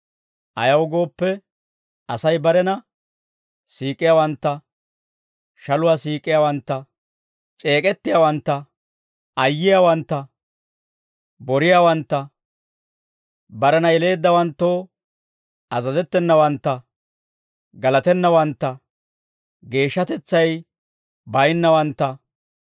Ayaw gooppe, Asay barena siik'iyaawantta, shaluwaa siik'iyaawantta, c'eek'ettiyaawantta, ayyiyaawantta, boriyaawantta, barena yeleeddawanttoo azazettenawantta, galatennawantta, geeshshatetsay baynnawantta,